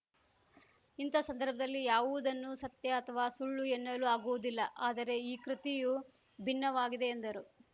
ಇಂತಹ ಸಂದರ್ಭದಲ್ಲಿ ಯಾವುದನ್ನು ಸತ್ಯ ಅಥವಾ ಸುಳ್ಳು ಎನ್ನಲು ಆಗುವುದಿಲ್ಲ ಆದರೆ ಈ ಕೃತಿಯು ಭಿನ್ನವಾಗಿದೆ ಎಂದರು